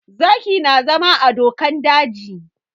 Zaki na zama a dokan daji